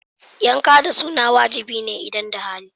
Yanka da suna wajibi ne idan da hali.